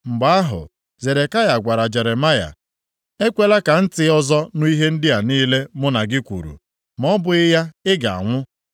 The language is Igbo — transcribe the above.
Mgbe ahụ, Zedekaya gwara Jeremaya, “Ekwela ka ntị ọzọ nụ ihe ndị a niile mụ na gị kwuru, ma ọ bụghị ya, ị ga-anwụ.